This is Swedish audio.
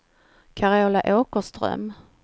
Carola Åkerström